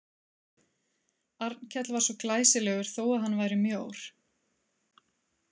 Arnkell var svo glæsilegur þó að hann væri mjór.